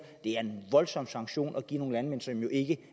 er en voldsom sanktion at give nogle landmænd som jo ikke